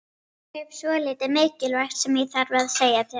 Ég hef svolítið mikilvægt sem ég þarf að segja þér.